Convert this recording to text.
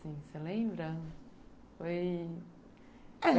Você lembra? Foi, é,